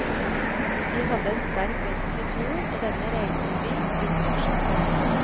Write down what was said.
Vi hadde en sterk vekst i fjor, og denne regner vi vil fortsette.